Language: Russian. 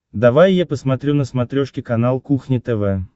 давай я посмотрю на смотрешке канал кухня тв